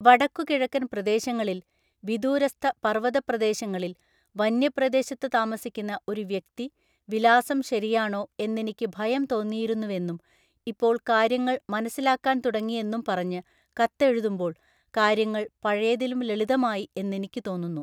വടക്കുകിഴക്കന്‍ പ്രദേശങ്ങളില്‍, വിദൂരസ്ഥ പര്‍വ്വത പ്രദേശങ്ങളില്‍, വനപ്രദേശത്ത് താമസിക്കുന്ന ഒരു വ്യക്തി, വിലാസം ശരിയാണോ എന്നെനിക്കു ഭയം തോന്നിയിരുന്നുവെന്നും ഇപ്പോള്‍ കാര്യങ്ങള്‍ മനസ്സിലാക്കാന്‍ തുടങ്ങി എന്നും പറഞ്ഞ് കത്തെഴുതുമ്പോള്‍ കാര്യങ്ങൾ പഴയതിലും ലളിതമായി എന്നെനിക്കു തോന്നുന്നു.